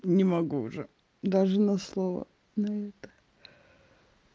не могу уже даже на слова на это